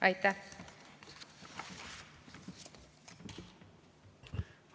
Aitäh!